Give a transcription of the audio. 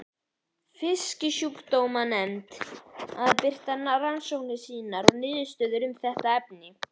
Fisksjúkdómanefnd að birta rannsóknir sínar og niðurstöður um þetta efni.